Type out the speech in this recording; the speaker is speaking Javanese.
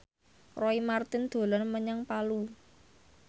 Roy Marten dolan menyang Palu